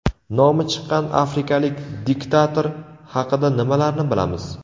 Nomi chiqqan afrikalik diktator haqida nimalarni bilamiz?.